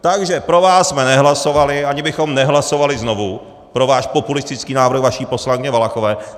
Takže pro vás jsme nehlasovali, ani bychom nehlasovali znovu pro váš populistický návrh vaší poslankyně Valachové.